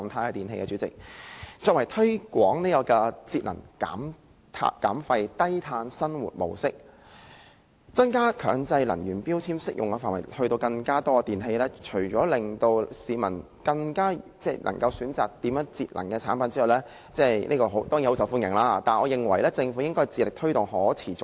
我認為政府除了推廣節能減廢、低碳生活模式，把強制性標籤計劃的適用範圍擴大至更多電器，令市民能選擇節能的產品——這當然很受歡迎——我認為政府還應致力推動可持續消費。